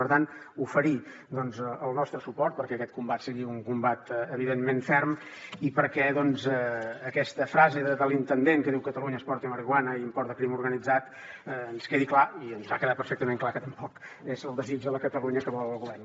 per tant oferir el nostre suport perquè aquest combat sigui un combat evidentment ferm i perquè aquesta frase de l’intendent que diu catalunya exporta marihuana i importa crim organitzat ens quedi clar i ens ha quedat perfectament clar que tampoc és el desig de la catalunya que vol el govern